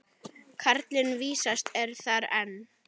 Karlinn vísast er þar enn.